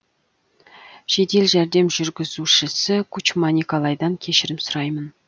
жедел жәрдем жүргізушісі кучма николайдан кешірім сұраймын